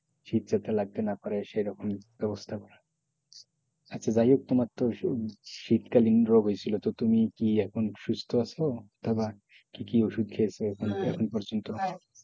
শীত যাতে লাগতে না পারে সেইরকম ব্যবস্থা করা আচ্ছা যাই হোক তোমার তো শীতকালীন রোগ হইছিলো তো তুমি এখন সুস্থ আছো তো আবার কি কি ওষুধ খেয়েছো এখন পর্যন্ত